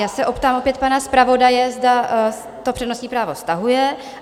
Já se optám opět pana zpravodaje, zda to přednostní právo stahuje?